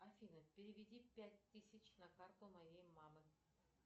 афина переведи пять тысяч на карту моей мамы